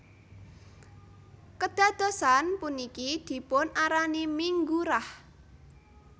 Kedadosan puniki dipun arani Minggu Rah